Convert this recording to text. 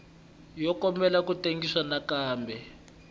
yo kombela ku tengisiwa nakambe